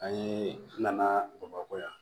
An ye nana bamakɔ yan